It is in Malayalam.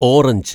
ഓറഞ്ച്